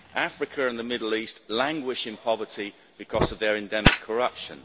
Africa and the Middle East languish in poverty because of their endemic corruption.